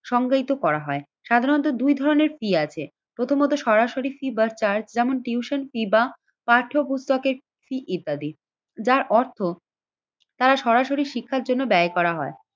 সংগৃহীত করা হয়। সাধারণত দুই ধরনের ফী আছে প্রথমত সরাসরি ফী টিউশন ফী বা পাঠ্য বুক ফী ইত্যাদি। যার অর্থ তারা সরাসরি শিক্ষার জন্য ব্যয় করা হয়।